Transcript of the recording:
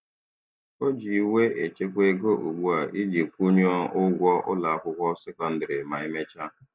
O ji iwe echekwa ego ugbu a iji kwụnwuo ụgwọ ụlọakwụkwọ sekondịrị ma e mechaa.